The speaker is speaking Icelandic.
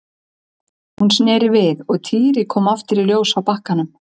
Hún sneri við og Týri kom aftur í ljós á bakkanum.